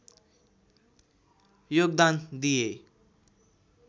योगदान दिए